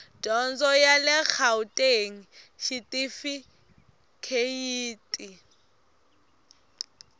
dyondzo ya le gauteng xitifikheyiti